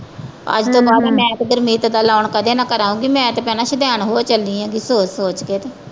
ਅੱਜ ਤੇ . ਬਾਅਦ ਮੈਂ ਤਾਂ ਗੁਰਮੀਤ ਤੋਂ ਲੋਨ ਕਦੇ ਨਾ ਕਰਾਊਂਗੀ ਮੈਂ ਤਾਂ ਭੈਣਾਂ ਸੁਦੈਣ ਹੋ ਚੱਲੀ ਆਂ ਗੀ ਸੋਚ ਸੋਚ ਕੇ ਤੇ।